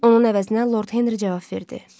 Onun əvəzinə Lord Henri cavab verdi.